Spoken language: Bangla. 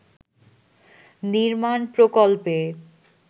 নির্মাণ প্রকল্পে